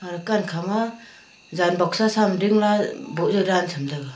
aga dakan khama jaan boxa sam dingla boh zau dan chamtaiga.